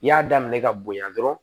I y'a daminɛ ka bonya dɔrɔn